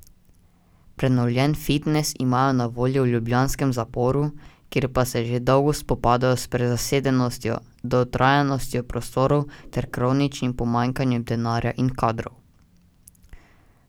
Prenovljen fitnes imajo na voljo v ljubljanskem zaporu, kjer pa se že dolgo spopadajo s prezasedenostjo, dotrajanostjo prostorov ter kroničnim pomanjkanjem denarja in kadrov.